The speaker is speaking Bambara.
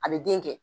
A bɛ den kɛ